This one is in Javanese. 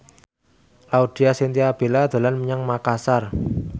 Laudya Chintya Bella dolan menyang Makasar